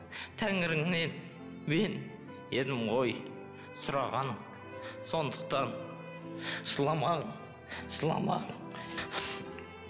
тәңіріңнен мен едім ғой сұрағаның сондықтан жыламағын жыламағын